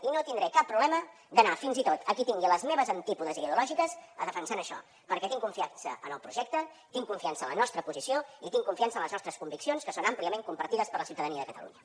i no tindré cap problema d’anar fins i tot a qui tingui als meus antípodes ideològics a defensar això perquè tinc confiança en el projecte tinc confiança en la nostra posició i tinc confiança en les nostres conviccions que són àmpliament compartides per la ciutadania de catalunya